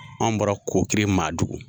Anw bɔra Kokiri Maadugu